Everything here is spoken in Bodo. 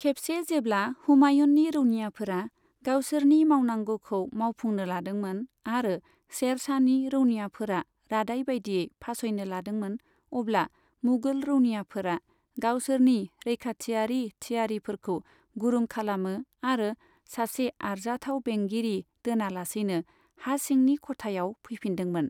खेबसे जेब्ला हुमायूननि रौनियाफोरा गावसोरनि मावनांगौखौ मावफुंनो लादोंमोन आरो शेर शाहनि रौनियाफोरा रादाय बायदियै फासयनो लादोंमोन, अब्ला मुगल रौनियाफोरा गावसोरनि रैखाथियारि थियारिफोरखौ गुरुं खालामो आरो सासे आरजाथाव बेंगिरि दोनालासैनो हासिंनि ख'थायाव फैफिनदोंमोन।